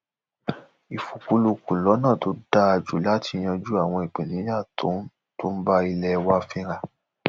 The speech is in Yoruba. ìfikùnlukùn lọnà tó dáa jù láti yanjú àwọn ìpèníjà tó ń tó ń bá ilé wa fínra